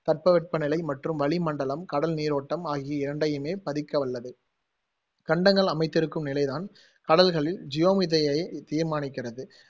தட்ப வெப்ப நிலை மற்றும் வளி மண்டலம் கடல் நீரோட்டம் ஆகிய இரண்டையுமே பதிக்கவல்லது கண்டங்கள் அமைத்திருக்கும் நிலைதான் கடல்களின் ஜியோமிதியைத் தீர்மானிக்கிறது